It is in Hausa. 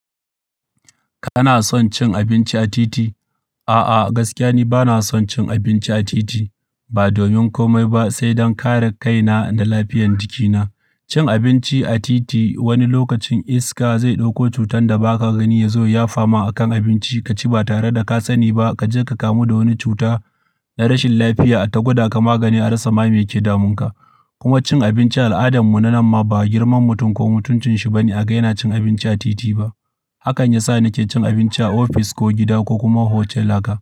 Kana son cin abinci a titi? A'a, gaskiya ni bana son cin abinci a titi ba domin komai ba, sai don kare kaina da lafiyar jikina. Cin abinci a titi wani lokacin iska zai ɗauko cutar da ba ka gani ya zo ya fama akan abinci, ka ci ba tare da ka sani ba. Ka je ka kamu da wani cuta na rashin lafiya a ta gwada ka magani a rasa ma mai ke damunka. Kuma cin abinci al'adan mu na nan ma ba girman mutum ko mutuncin shi bane a ga yana cin abinci a titi ba. Hakan ya sa na ke cin abinci a ofis ko gida ko kuma hotal naka.